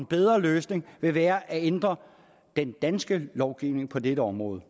bedre løsning vil være at ændre den danske lovgivning på dette område